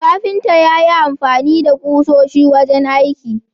Kafinta yayi amfani da kusoshi wajen aiki